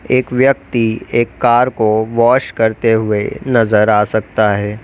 एक व्यक्ति एक कार को वॉश करते हुए नजर आ सकता है।